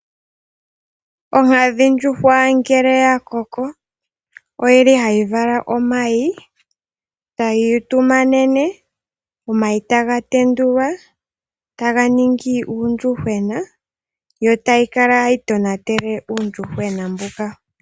Onkadhindjuhwa ngele oya koko ohayi vala omayi, tayi utumanene, omayi taga tenduka tamu zi uuyuhwena, yo tayi kala tayi tonatele uuyuhwena mboka.